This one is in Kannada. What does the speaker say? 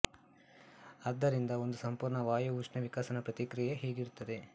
ಆದ್ದರಿಂದ ಒಂದು ಸಂಪೂರ್ಣ ವಾಯು ಉಷ್ಣ ವಿಕಸನ ಪ್ರತಿಕ್ರಿಯೆ ಹೀಗಿರುತ್ತೆದೆ